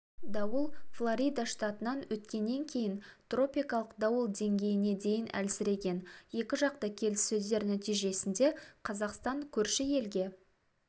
дауыл флорида штатынан өткеннен кейін тропикалық дауыл деңгейіне дейін әлсіреген екіжақты келіссөздер нәтижесінде қазақстан көрші елге